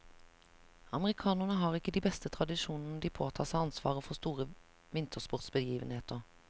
Amerikanerne har ikke de beste tradisjoner når de påtar seg ansvaret for store vintersportsbegivenheter.